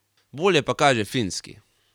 Bolje pa kaže Finski.